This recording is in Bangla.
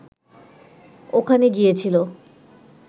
ওখানে গিয়েছিল